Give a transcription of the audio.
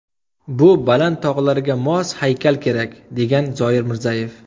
Bu baland tog‘larga mos haykal kerak”, degan Zoir Mirzayev.